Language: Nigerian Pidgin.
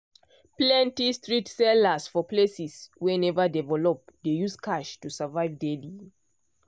plenty street sellers for places wey never develop dey use cash to survive daily.